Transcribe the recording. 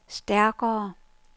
stærkere